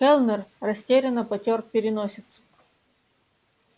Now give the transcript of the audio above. кэллнер растерянно потёр переносицу